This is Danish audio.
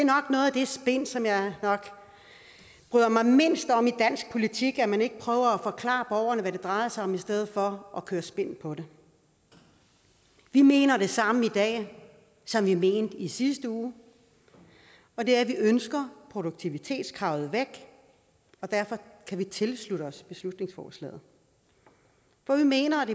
spin som jeg bryder mig mindst om i dansk politik altså at man ikke prøver at forklare borgerne hvad det drejer sig om i stedet for at køre spin på det vi mener det samme i dag som vi mente i sidste uge og det er at vi ønsker produktivitetskravet væk og derfor kan vi tilslutte os beslutningsforslaget for vi mener